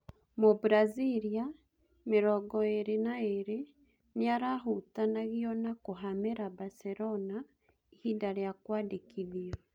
Mũbraziria, mĩrongoĩrĩ naĩrĩ, nĩarahutanagio na kũhamĩra Mbacerona ihinda rĩa kũandĩkithio.